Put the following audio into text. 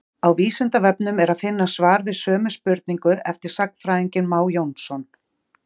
Á Vísindavefnum er að finna svar við sömu spurningu eftir sagnfræðinginn Má Jónsson.